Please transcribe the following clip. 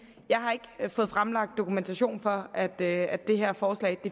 jeg har ikke fået fremlagt dokumentation for at det at det her forslag